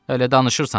Elə danışırsan da.